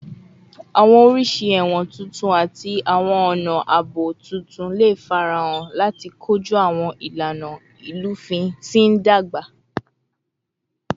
Awọn oriṣi ẹwọn tuntun ati awọn ọna aabo tuntun le farahan lati koju awọn ilana ilufin ti n dagba